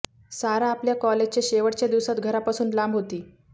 सारा आपल्या कॉलेजच्या शेवटच्या दिवसांत घरापासून लांब होती